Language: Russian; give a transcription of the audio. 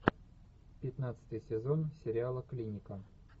пятнадцатый сезон сериала клиника